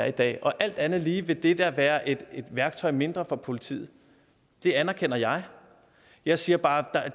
i dag og alt andet lige vil det da være et værktøj mindre for politiet det anerkender jeg jeg siger bare at